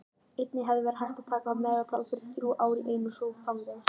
Einnig hefði verið hægt að taka meðaltal fyrir þrjú ár í einu og svo framvegis.